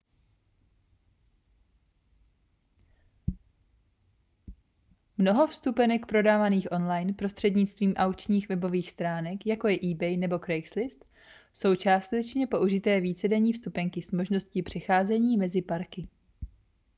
mnoho vstupenek prodávaných online prostřednictvím aukčních webových stránek jako je ebay nebo craigslist jsou částečně použité vícedenní vstupenky s možností přecházení mezi parky